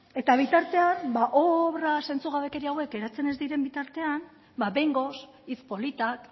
eta bitartean obra zentzugabekeria hauek geratzen ez diren bitartean behingoz hitz politak